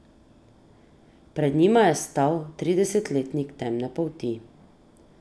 Pred njima je stal tridesetletnik temne polti.